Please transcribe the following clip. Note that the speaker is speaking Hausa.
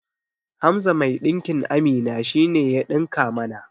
Hamza mai ɗinkin Amina shine ya ɗinka mana